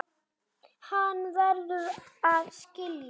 Hann verður að skilja.